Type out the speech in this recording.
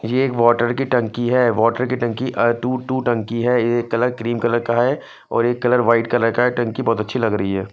ये एक वोटर की टंकी है वोटर की टंकी अ टू टू टंकी है एक कलर क्रीम कलर का है और एक कलर वाइट कलर का टंकी बोहोत अच्छी लगरी है।